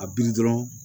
A bi dɔrɔn